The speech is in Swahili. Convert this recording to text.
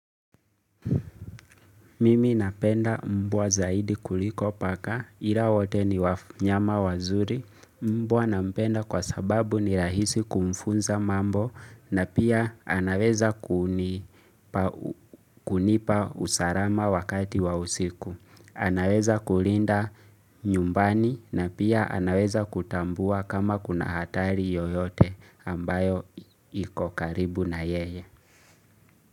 Mimi napenda mbwa zaidi kuliko paka, ila wote ni wanyama wazuri, mbwa nampenda kwa sababu ni rahisi kumfunza mambo na pia anaweza kunipa usarama wakati wa usiku. Anaweza kulinda nyumbani na pia anaweza kutambua kama kuna hatari yoyote ambayo ikokaribu na yeye.